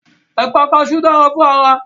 Ẹ̀pà kaṣú dára fún ara